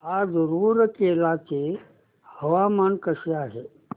आज रूरकेला चे हवामान कसे आहे